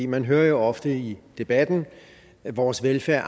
man hører jo ofte i debatten at vores velfærd